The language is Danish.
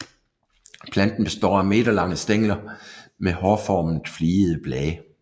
Planten består af meterlange stængler med hårformet fligede blade